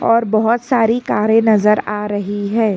और बहुत सारी कारें नजर आ रही है।